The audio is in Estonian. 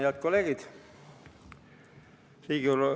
Head kolleegid!